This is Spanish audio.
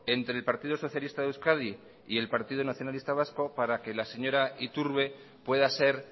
entre el partido socialista de euskadi y el partido nacionalista vasco para que la señora iturbe pueda ser